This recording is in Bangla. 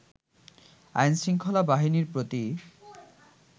আইন-শৃঙ্খলা বাহিনীর প্রতি